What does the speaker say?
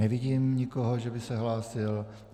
Nevidím nikoho, že by se hlásil.